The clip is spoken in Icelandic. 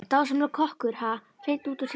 Dásamlegur kokkur, ha, hreint út sagt frábær.